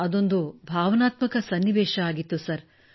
ಅದೊಂದು ಭಾವನಾತ್ಮಕ ಸನ್ನಿವೇಶವಾಗಿತ್ತು ಸರ್